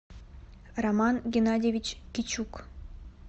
роман геннадьевич кичук